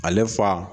Ale fa